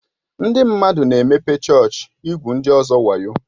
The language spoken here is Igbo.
Ndị mmadụ na-emepe chọọchị igwu ndị ọzọ wayo.